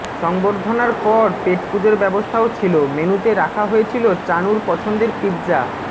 সংবর্ধনার পর পেটপুজোর ব্যবস্থাও ছিল মেনুতে রাখা হয়েছিল চানুর পছন্দের পিৎজা